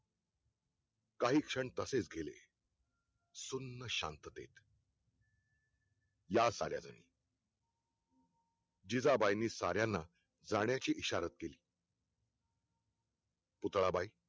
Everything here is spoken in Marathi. काही क्षण तसेच गेले सुन्न शांततेत या साल्यांनी जिजाबाईंनी साल्यांना जाण्याची इशारा केली पुतळा बाई